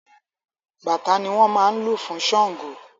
Bàtá ni wọn máa ń lù fún Sángo.